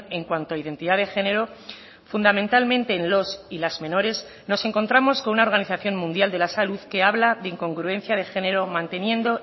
en cuanto a identidad de género fundamentalmente en los y las menores nos encontramos con una organización mundial de la salud que habla de incongruencia de género manteniendo